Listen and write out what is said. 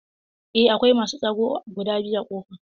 Eh akwai masu tsaro guda biyu a ƙofa?